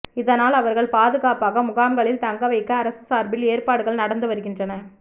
இதனால் அவர்கள் பாதுகாப்பாக முகாம்களில் தங்க வைக்க அரசு சார்பில் ஏற்பாடுகள் நடந்துவருகின்றன